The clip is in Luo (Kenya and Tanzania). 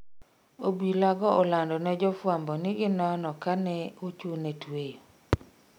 Obila go olando ne jofwambo ni ginono ka ne ochune tweyo